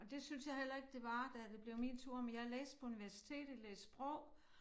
Og det syntes jeg heller ikke det var da det blev min tur men jeg læste på universitet læste sprog